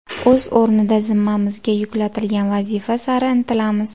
O‘z o‘rnida zimmamizga yuklatilgan vazifa sari intilamiz.